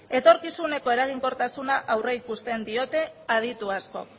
etorkizuneko eraginkortasuna aurreikusten diote aditu askok